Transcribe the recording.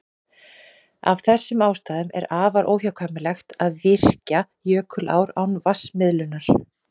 Af þessum ástæðum er afar óhagkvæmt að virkja jökulár án vatnsmiðlunar.